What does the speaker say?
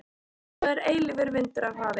Svo er eilífur vindur af hafi.